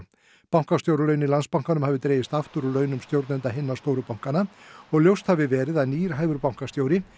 bankastjóralaun í Landsbankanum hafi dregist aftur úr launum stjórnenda hinna stóru bankanna og ljóst hafi verið að nýr hæfur bankastjóri